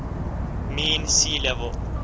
mean sea level